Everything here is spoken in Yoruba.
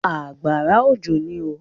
Àgbàrá òjò ní oo.